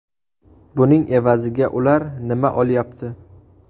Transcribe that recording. Buning evaziga ular nima olyapti?